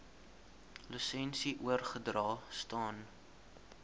lisensie oorgedra staan